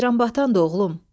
Ceyranbatan da oğlum.